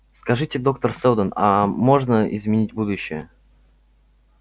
скажите доктор сэлдон аа можно изменить будущее